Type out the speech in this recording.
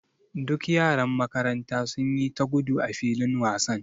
Duk yaran makaranta sun yi ta gudu a filin wasan.